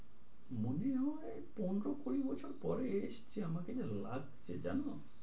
মনে হয় পনেরো-কুড়ি বছর পরে এসছে আমাকে যা লাগছে জানো?